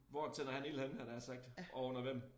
Hvor tænder han ild henne havde jeg nær sagt og under hvem